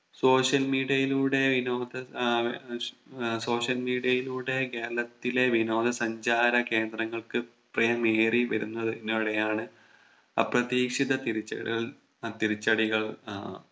Social media യിലൂടെ വിനോദ ഏർ social media യിലൂടെ കേരളത്തിലെ വിനോദ സഞ്ചാര കേന്ദ്രങ്ങൾക്ക് പ്രിയമേറി വരുന്നതി നോടെയാണ് അപ്രധീക്ഷിത തിരിച്ചടികൾ അഹ് തിരിച്ചടികൾ ആഹ്